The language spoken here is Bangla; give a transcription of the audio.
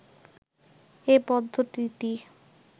এ পদ্ধতিটি